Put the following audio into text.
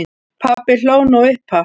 Pabbi hló nú upphátt.